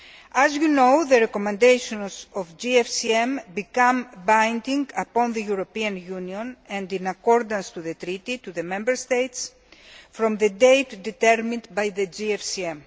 As you know, the recommendations of the GFCM become binding on the European Union and, in accordance with the Treaty, on the Member States from the date determined by the GFCM.